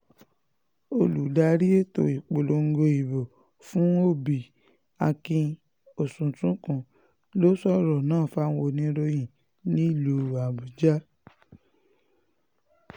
olùdarí ètò ìpolongo ìbò fún òbí akin oṣùntúnkùn ló sọ̀rọ̀ náà fáwọn oníròyìn nílùú àbújá